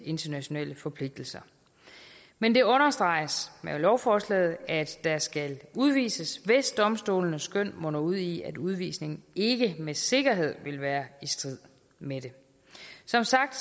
internationale forpligtelser men det understreges i lovforslaget at der skal udvises hvis domstolenes skøn munder ud i at udvisningen ikke med sikkerhed vil være i strid med dem som sagt